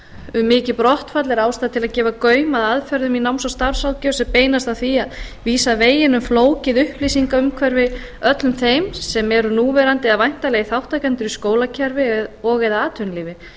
um mikið brottfall er ástæða til að gefa gaum að aðferðum í náms og starfsráðgjöf sem beinast að því að vísa veginn um flókið upplýsingaumhverfi öllum þeim sem eru núverandi eða væntanlegir þátttakendur í skólakerfi og eða atvinnulífi